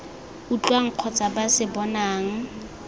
utlwang kgotsa ba se bonang